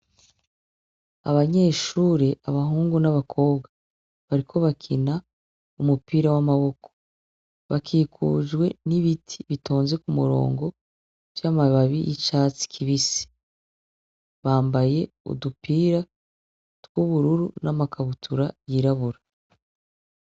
Abanyeshure, abahungu n'abakobwa bariko bakina umupira w'amaboko, bakikujwe n'ibiti bitonze ku murongo vy'amababi y'icatsi kibisi. Bambaye udupira tw'ubururu n'amakabutura yirabura.